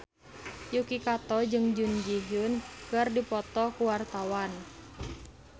Yuki Kato jeung Jun Ji Hyun keur dipoto ku wartawan